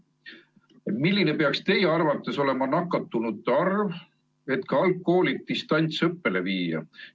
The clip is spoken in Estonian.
Milline peaks teie arvates olema nakatunute arv, et ka algklassid distantsõppele viia?